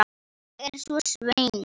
Ég er svo svöng.